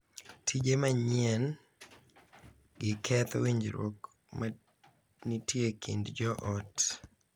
Tije manyien gi ketho winjruok ma nitie e kind joot,